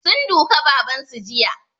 Sun duka baban su jiya